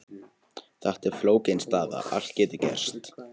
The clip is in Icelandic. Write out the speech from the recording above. Þetta er flókin staða, allt getur gerst.